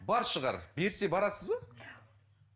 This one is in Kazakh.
бар шығар берсе барасыз ба